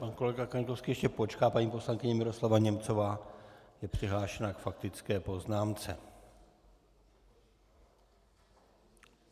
Pan kolega Kaňkovský ještě počká, paní poslankyně Miroslava Němcová je přihlášena k faktické poznámce.